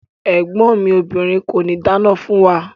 Ẹ̀gbọ́n mi obìrin kòní dáná fún wa.